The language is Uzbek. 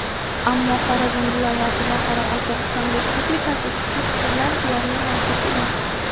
Ammo Xorazm viloyati va Qoraqalpog‘iston Respublikasida chuchuk suvlar deyarli mavjud emas.